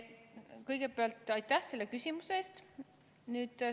Kõigepealt aitäh selle küsimuse eest!